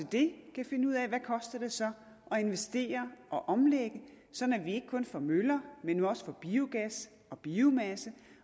det så koster at investere og omlægge sådan at vi ikke kun får møller men vi også får biogas og biomasse